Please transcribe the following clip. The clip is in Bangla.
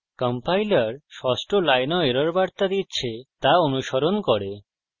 কম্পাইলার ষষ্ঠ লাইনেও এরর বার্তা দিচ্ছে তা অনুস্মরণ করুন